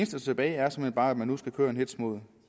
står tilbage er såmænd bare at man nu skal køre en hetz mod